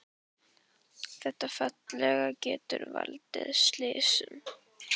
Þetta félag getur valdið slysum,